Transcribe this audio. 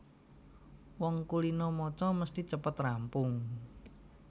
Wong kulina maca mesthi cepet rampung